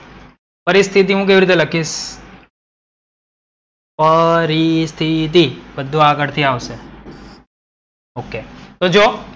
પરિસ્થિતી હું કેવી રીતે લખીશ? પરિસ્થિતી બધુ આગડ થી આવશે. તો જો,